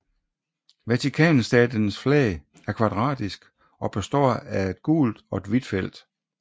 Vatikanstatens flag er kvadratisk og består af et gult og et hvidt felt